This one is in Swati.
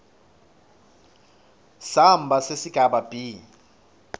samba sesigaba b